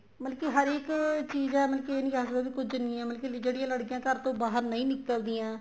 ਮਤਲਬ ਕੀ ਹਰ ਇੱਕ ਚੀਜ਼ ਏ ਮਤਲਬ ਕੇ ਇਹ ਨਹੀਂ ਕਹਿ ਸਕਦੇ ਕੁੱਝ ਨਹੀਂ ਹੈ ਮਤਲਬ ਕੀ ਜਿਹੜੀਆਂ ਲੜਕੀਆਂ ਘਰ ਤੋਂ ਬਾਹਰ ਨਹੀਂ ਨਿੱਕਲਦੀਆਂ